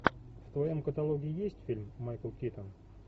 в твоем каталоге есть фильм майкл китон